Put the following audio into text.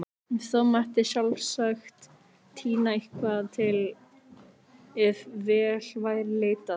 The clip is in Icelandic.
Þó mætti sjálfsagt tína eitthvað til ef vel væri leitað.